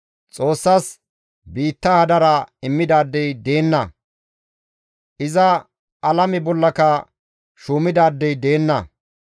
Xoossasi biitta hadara immidaadey deenna; iza alame bollaka shuumidaadey deenna.